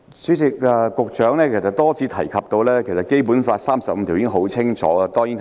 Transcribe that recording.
主席，司長多次提及《基本法》第三十五條的條文。